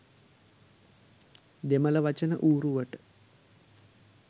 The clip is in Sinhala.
දෙමළ වචන ඌරුවට